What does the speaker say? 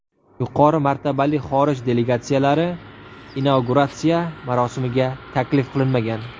Yuqori martabali xorij delegatsiyalari inauguratsiya marosimiga taklif qilinmagan.